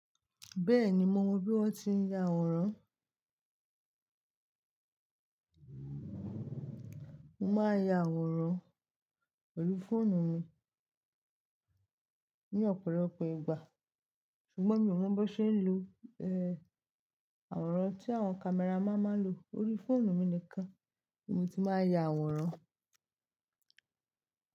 Bẹ́ẹ̀ni, mo mọ bí wọ́n ti ń ya àwòrán. Mo máa ya àwòrán orí fóònù mi ní ọ̀pọ̀lọpọ̀ ìgbà, ṣùgbọ́n mi ò mọ bó ṣe ń lo, àwòrán tí àwọn camera man máa ń lo. Orí fóònù mi nìkan ni mo ti máa ya àwòrán.